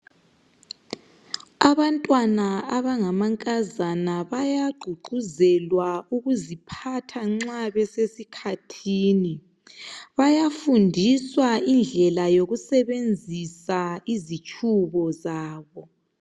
Abantwana abangamankazana bayagqugquzelwa ukuziphatha nxa besesikhathini. Bayafundiswa indlela omele basebenzise ngayo izitshubo zabo.